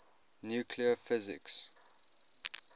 nuclear physics